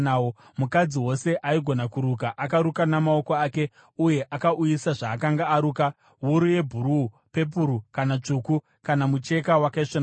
Mukadzi wose aigona kuruka akaruka namaoko ake uye akauyisa zvaakanga aruka, wuru yebhuruu, pepuru kana tsvuku kana mucheka wakaisvonaka.